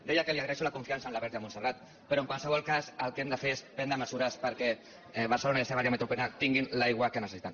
deia que li agraeixo la confiança en la verge de montserrat però en qualsevol cas el que hem de fer és prendre mesures perquè barcelona i la seva àrea metropolitana tinguin l’aigua que necessiten